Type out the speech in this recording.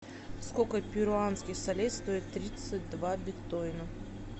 сколько перуанских солей стоит тридцать два биткоина